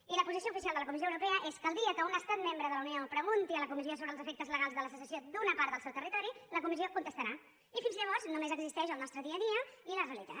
i la posició oficial de la comissió europea és que el dia que un estat membre de la unió pregunti a la comissió sobre els efectes legals de la secessió d’una part del seu territori la comissió contestarà i fins llavors només existeix el nostre dia a dia i la realitat